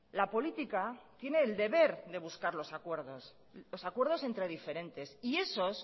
la política tiene el deber de buscar los acuerdos los acuerdos entre diferentes y esos